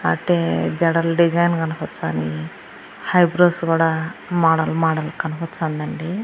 అట్టే జడల్ డిజైన్ కనిప్పిచాని హైబ్రోస్ కూడా మోడల్ మోడల్ కనపచ్చందండి.